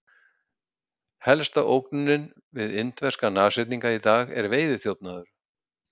Helsta ógnunin við indverska nashyrninga í dag er veiðiþjófnaður.